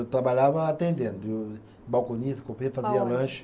Eu trabalhava atendendo, balconista, fazia lanche.